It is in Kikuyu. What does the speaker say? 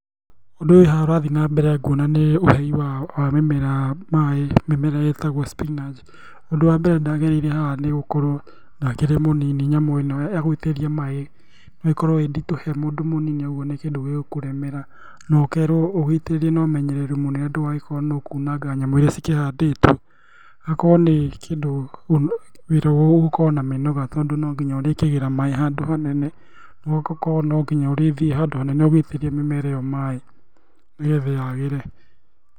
Ũndũ ũyũ wĩ haha ũrathiĩ na mbere nguona nĩ ũhei wa mimera maĩ, mĩmera ĩtagwo spinanch. Ũndũ wa mbere ndagereire haha nĩgũkorwo ndakĩrĩ mũnini nyamũ ĩno ya gũitĩrĩria maĩĩ noĩkorwo ĩ nditũ he mũndũ mũnini ũguo nĩ kĩndũ gĩ gũkũremera nokerwo ũgĩitirĩrie nomenyereri mũnene ndũgagĩkorwo nĩũkunanga nyamũ iria cikĩhandĩtwo, akorwo nĩ kĩndũ wĩra ũgũkorwo na mĩnoga tondũ no nginya ũrĩkĩgĩĩra maĩ handũ hanene, ũguo gũkorwo no ngĩnya ũrĩthiĩ handũ hanene ũgĩitĩrĩria mĩmera ĩyo maĩ, nĩgetha yagĩre.